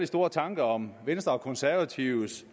store tanker om venstre og konservatives